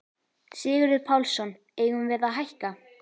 Sigurður Pálsson: Eigum við að hækka?